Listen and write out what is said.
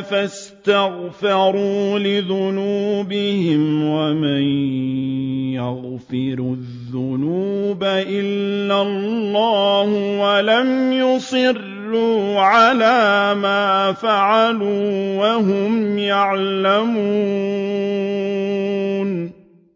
فَاسْتَغْفَرُوا لِذُنُوبِهِمْ وَمَن يَغْفِرُ الذُّنُوبَ إِلَّا اللَّهُ وَلَمْ يُصِرُّوا عَلَىٰ مَا فَعَلُوا وَهُمْ يَعْلَمُونَ